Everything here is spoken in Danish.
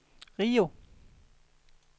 Rio